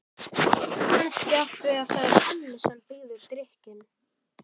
Kannski af því að það er Hemmi sem býður drykkinn.